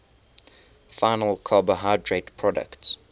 final carbohydrate products